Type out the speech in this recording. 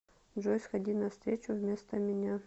джой сходи на встречу вместо меня